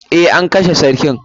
Eh, an kashe sarkin.